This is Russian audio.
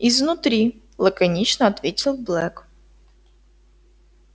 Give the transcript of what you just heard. изнутри лаконично ответил блэк